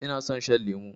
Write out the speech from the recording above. Ina son shan lemo